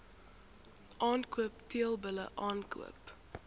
aankoop teelbulle aankoop